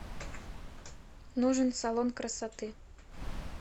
нужен салон красоты